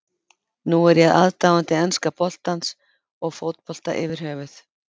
Nú er ég aðdáandi enska boltans og fótbolta yfir höfuð.